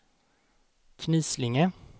Knislinge